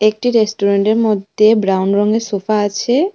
একটি রেস্টুরেন্টের মধ্যে ব্রাউন রংয়ের সোফা আছে।